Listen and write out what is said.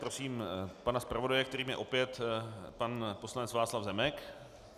Prosím pana zpravodaje, kterým je opět pan poslanec Václav Zemek.